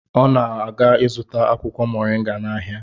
Ọ na-aga ịzụta akwụkwọ Mọrịnga n'ahịa.